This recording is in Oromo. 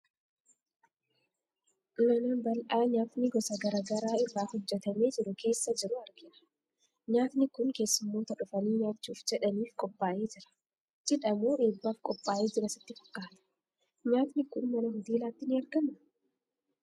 Manam bal'aa nyaatni gosa garaa garaa irraa hojjetamee jiru keessa jiru argina. Nyaatni kun keessummoota dhufanii nyaachuuf jedhanif qophaa'ee jira. Cidha moo eebbaaf qophaa'ee jira sitti fakkaata? Nyaatni kun mana hoteelaatti ni argamaa?